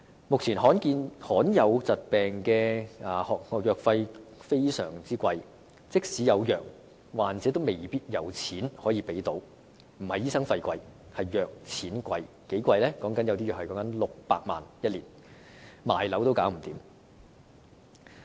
目前，罕見疾病的藥費相當高昂，即使有藥，患者也未必可以負擔，問題並非醫生費用昂貴，而是藥物昂貴，究竟有多貴呢？